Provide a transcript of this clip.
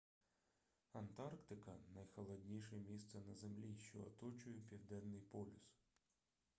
антарктика найхолодніше місце на землі що оточує південний полюс